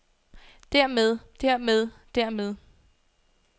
dermed dermed dermed